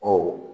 Ɔ